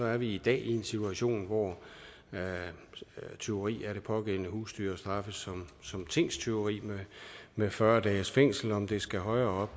er vi i dag i en situation hvor tyveri af det pågældende husdyr straffes som tingstyveri med fyrre dages fængsel om det skal højere